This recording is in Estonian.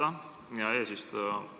Aitäh, hea eesistuja!